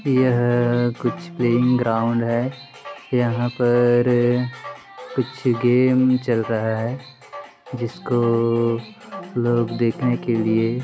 यह कूछ playing ground है यहा पर कूछ गेम चल रहा है जिसको लोग देखने के लिये--